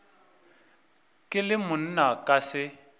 ke le monna ka se